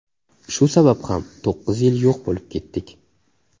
Shu sabab ham to‘qqiz yil yo‘q bo‘lib ketdik.